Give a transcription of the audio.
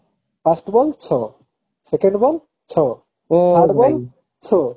first ball ଛଅ second ball ଛଅ third ball ଛଅ